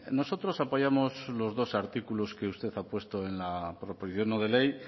nosotros apoyamos los dos artículos que usted ha puesto en la proposición no de ley